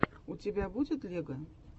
у тебя будет лего